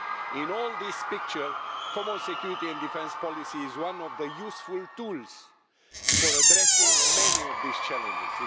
In all this picture, common security and defence policy is one of the useful tools for addressing many of these challenges.